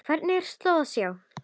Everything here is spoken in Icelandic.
Hvergi er slóð að sjá.